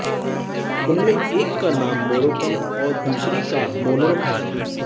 उनमें एक का नाम मोरोक्कन और दूसरी का मोनरो है